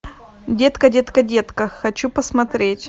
детка детка детка хочу посмотреть